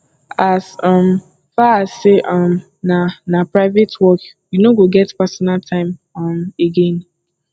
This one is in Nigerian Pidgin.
as um far as sey um na na private work you no go get pasonal time um again